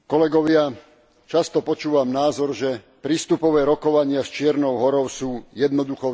Často počúvam názor, že prístupové rokovania s Čiernou Horou sú jednoduchou záležitosťou.